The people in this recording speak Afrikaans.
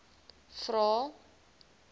vvvvrae